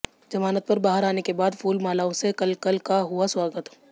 जमानत पर बाहर आने के बाद फूल मालाओं से कलकल का हुआ स्वागत